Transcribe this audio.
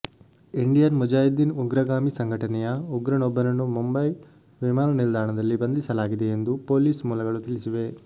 Indian Mujahideen ಉಗ್ರಗಾಮಿ ಸಂಘಟನೆಯ ಉಗ್ರನೊಬ್ಬನನ್ನು ಮುಂಬೈ ವಿಮಾನ ನಿಲ್ದಾಣದಲ್ಲಿ ಬಂಧಿಸಲಾಗಿದೆ ಎಂದು ಪೊಲೀಸ್ ಮೂಲಗಳು ತಿಳಿಸಿವೆ